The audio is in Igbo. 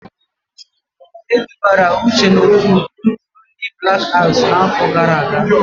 Edubara Uche n'otu nzuzo ndị Blak Aks n'áfọ̀ gara aga.